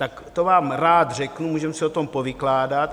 Tak to vám rád řeknu, můžeme si o tom povykládat.